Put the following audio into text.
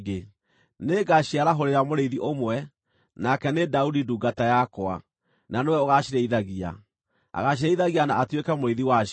Nĩngaciarahũrĩra mũrĩithi ũmwe, nake nĩ Daudi ndungata yakwa, na nĩwe ũgaacirĩithagia; agaacirĩithagia na atuĩke mũrĩithi wacio.